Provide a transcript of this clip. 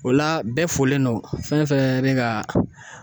O la bɛɛ folen don fɛn fɛn bɛ ka